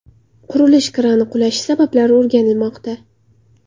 Qurilish krani qulashi sabablari o‘rganilmoqda.